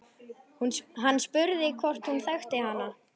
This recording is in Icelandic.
Hann spurði hvort hún þekkti hana.